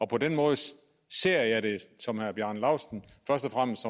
på den måde ser jeg det som herre bjarne laustsen først og fremmest